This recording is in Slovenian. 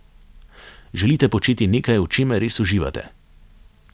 Želite početi nekaj, v čemer res uživate?